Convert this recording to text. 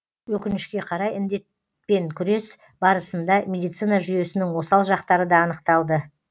өкінішке қарай індетпен күрес барысында медицина жүйесінің осал жақтары да анықталды